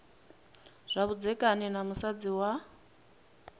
zwa vhudzekani na musadzi wa